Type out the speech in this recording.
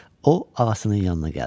O ağasının yanına gəldi.